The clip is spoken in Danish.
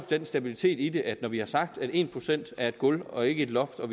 den stabilitet i det at når vi har sagt at en procent er et gulv og ikke et loft og